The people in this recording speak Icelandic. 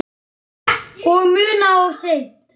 Og munað of seint.